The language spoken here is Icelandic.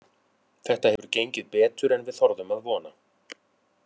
Þetta hefur gengið betur en við þorðum að vona.